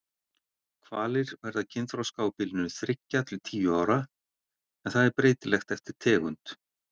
Hvalir verða kynþroska á bilinu þriggja til tíu ára en það er breytilegt eftir tegund.